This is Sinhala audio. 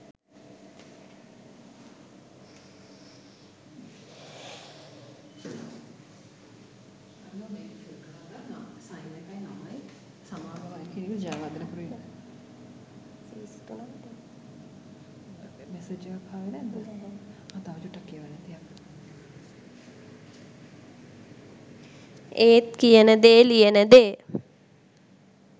ඒත් කියන දේ ලියන දේ